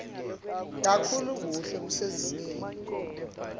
kakhulu kuhle kusezingeni